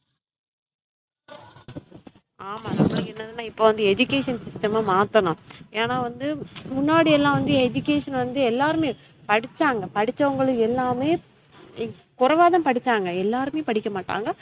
ஆமா என்ன என்னாதுனா இப்ப வந்து education system ம மாத்தனும். ஏன்னா வந்து முன்னாடி எல்லாம் வந்து education வந்து எல்லாருமே படிச்சாங்க படிச்சவுங்களுக்கு எல்லாமே குறைவா தான் படிச்சங்க எல்லாருமே படிக்கமாட்டங்க